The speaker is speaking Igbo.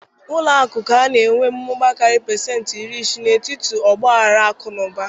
Ụlọ akụ ka na-enwe mmụba karịrị pasenti iri isii n'etiti ọgba aghara akụ na ụba